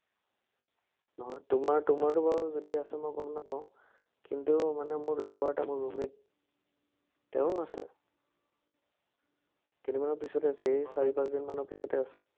নহয় তোমাৰ তোমাৰতো বাৰু যদি আছে, মই গম নাপাওঁ। কিন্তু মানে মোৰ লগৰ এটা মোৰ room-mate তেওঁৰ আছে। কেইদিনমানৰ পিচতে আছে, এই চাৰি-পাঁচদিনমানৰ পাঁচতে আছে।